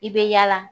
I bɛ yaala